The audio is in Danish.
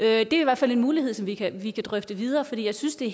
er i hvert fald en mulighed vi kan vi kan drøfte videre for jeg synes det